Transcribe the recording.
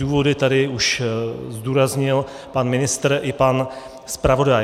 Důvody tady už zdůraznil pan ministr i pan zpravodaj.